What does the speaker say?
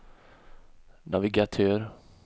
navigatör